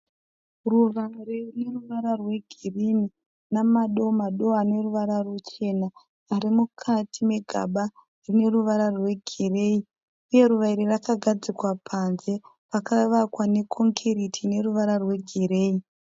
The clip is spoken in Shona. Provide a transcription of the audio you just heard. Ruva rine ruvara rwegirini namado- mado ane ruvara ruchena ari mukati megaba rine ruvara rwegireyi. Uye ruva iri rakagadzikwa panze pakavakwa nekongiriti ine ruvara rwegireyi